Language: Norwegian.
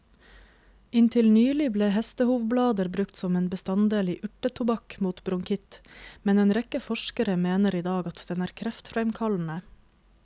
Inntil nylig ble hestehovblader brukt som en bestanddel i urtetobakk mot bronkitt, men en rekke forskere mener i dag at den er kreftfremkallende.